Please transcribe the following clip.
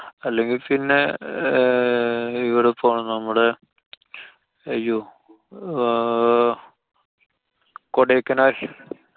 അല്ലെങ്കി പിന്നെ ആഹ് ഇവടെ പോണം നമ്മുടെ, അയ്യോ! ആഹ് കൊടൈക്കനാല്‍